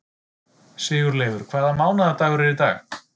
Sigurleifur, hvaða mánaðardagur er í dag?